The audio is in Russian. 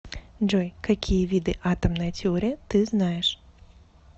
джой какие виды атомная теория ты знаешь